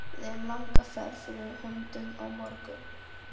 Við eigum langa ferð fyrir höndum á morgun